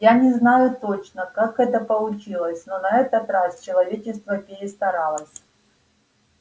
я не знаю точно как это получилось но на этот раз человечество перестаралось